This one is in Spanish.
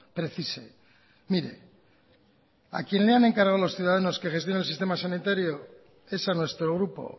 precise mire a quien le han encargado los ciudadanos que gestione el sistema sanitario es a nuestro grupo